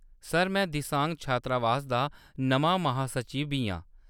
Sir, में दिसांग छात्रावास दा नमां महासचिव बी आं।